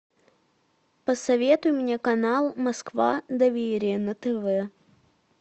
посоветуй мне канал москва доверие на тв